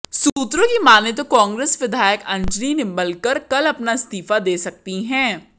सूत्रों की मानें तो कांग्रेस विधायक अंजलि निबंलकर कल अपना इस्तीफा दे सकती हैं